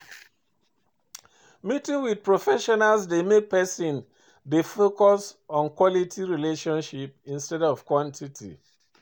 Meeting with professional dey make person dey focus on quality relationship instead of quantity